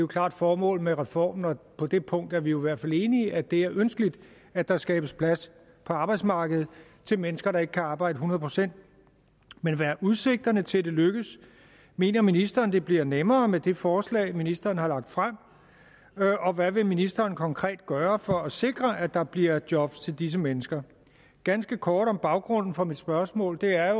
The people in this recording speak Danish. klart formål med reformen og på det punkt er vi jo i hvert fald enige om at det er ønskeligt at der skabes plads på arbejdsmarkedet til mennesker der ikke kan arbejde hundrede procent men hvad er udsigterne til at det lykkes mener ministeren det bliver nemmere med det forslag ministeren har lagt frem og hvad vil ministeren konkret gøre for at sikre at der bliver job til disse mennesker ganske kort om baggrunden for mit spørgsmål kan jeg